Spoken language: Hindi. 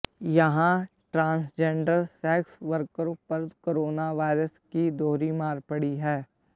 यहां ट्रांसजेंडर सेक्स वर्करों पर कोरोना वायरस की दोहरी मार पड़ी है